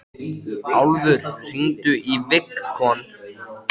Alma systir veit ekkert verra en að baka.